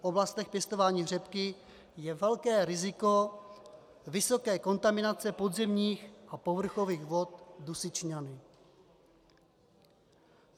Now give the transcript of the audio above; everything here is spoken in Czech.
V oblastech pěstování řepky je velké riziko vysoké kontaminace podzemních a povrchových vod dusičnany.